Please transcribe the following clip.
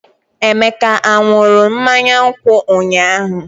Emeka ṅụrụ mmanya nkwụ ụnyahụ?